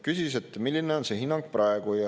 Küsis, et milline on see hinnang praegu.